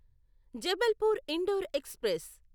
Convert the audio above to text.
Jabalpur Indore express